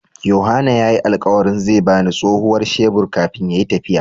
Yohana ya yi alkawari zai ba ni tsohuwar shebur kafin ya yi tafiya.